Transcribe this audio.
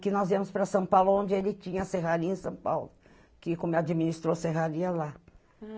Que nós íamos para São Paulo, onde ele tinha a serraria em São Paulo, que como administrou a serraria lá.